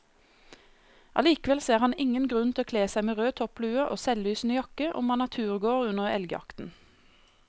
Allikevel ser han ingen grunn til å kle seg med rød topplue og selvlysende jakke om man er turgåer under elgjakten.